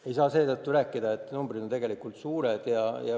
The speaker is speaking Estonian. Ei saa rääkida seetõttu, et numbrid on tegelikult suured.